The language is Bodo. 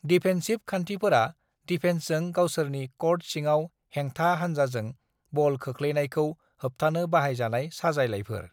डिफेन्सिभ खान्थिफोरा डिफेन्सजों गावसोरनि क'र्ट सिङाव हेंथा हानजाजों बल खोख्लैनायखौ होबथानो बाहायजानाय साजायलायफोर।